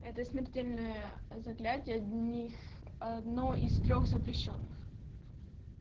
это смертельное заклятие одни одно из трёх запрещённых